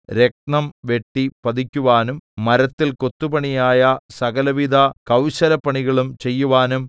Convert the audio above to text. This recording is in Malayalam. രത്നം വെട്ടി പതിക്കുവാനും മരത്തിൽ കൊത്തുപണിയായ സകലവിധ കൗശലപ്പണികളും ചെയ്യുവാനും